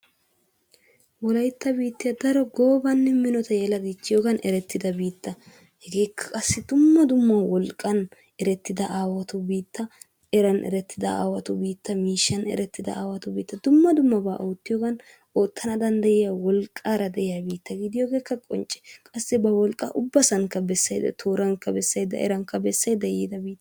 Wolaytta bittiya daro goobanne minota yela dichchiyogan erettida biitta. Hegeekka qassi dumma dumma wolqqan erettida aawatu biitta, eran erettida aawatu biitta, miishshan erettida aawatu biitta dumma dummabaa oottiyogan oottana danddayiya wolqqaara de'iya biitta gidiyogeekka qoncce. Qassi ba wolqqaakka ubbasankka bessayidda toorankka bessayidda erankka bessaydda yiida biitta.